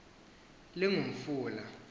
lingumfula